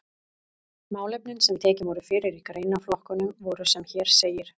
Málefnin sem tekin voru fyrir í greinaflokkunum voru sem hér segir